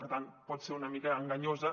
per tant pot ser una mica enganyosa